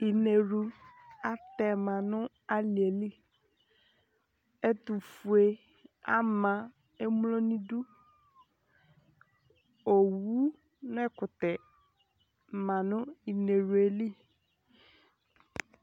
Inewlu atɛ ma nʋ alɩ yɛ li Ɛtʋfue ama emlo nʋ idu Owu nʋ ɛkʋtɛ ma nʋ inewlu yɛ li